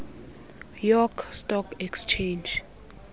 york stock exchange